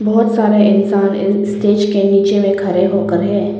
बहुत सारा इंसान इस स्टेज के नीचे में खड़े होकर है।